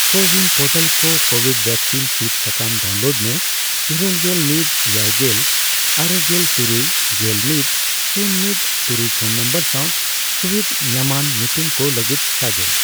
CoWIN portal ᱠᱷᱚᱱ covid vaccine ᱥᱤᱫ ᱥᱟᱠᱟᱢ ᱰᱟᱣᱩᱱᱞᱳᱰ ᱢᱮ ᱤᱨᱟᱹᱞᱜᱮᱞ ᱢᱤᱛ ,ᱮᱭᱟᱭᱜᱮᱞ ,ᱟᱨᱮᱝᱮᱞ ᱛᱩᱨᱩᱭ, ᱜᱮᱞ ᱢᱤᱛ ,ᱥᱩᱱ ᱢᱤᱛ ,ᱛᱩᱨᱩᱭ ᱯᱷᱚᱱ ᱱᱚᱢᱵᱚᱨ ᱥᱟᱣ ᱥᱩᱵᱤᱫᱷ ᱧᱟᱢᱟᱱ ᱧᱩᱛᱩᱢ ᱠᱚ ᱞᱟᱹᱜᱤᱫ ᱥᱟᱜᱮᱱ ᱾